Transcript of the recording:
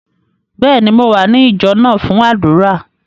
Bẹ́ẹ̀ni, Mò wa ní ìjọ náà fun àdúrà.